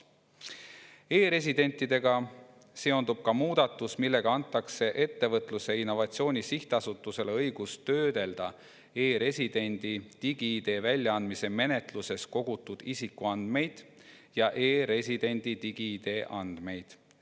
E‑residentidega seondub ka muudatus, millega antakse Ettevõtluse ja Innovatsiooni Sihtasutusele õigus töödelda e‑residendi digi‑ID väljaandmise menetluses kogutud isikuandmeid ja e‑residendi digi‑ID andmeid.